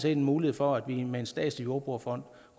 en mulighed for at vi med en statslig jordbrugerfond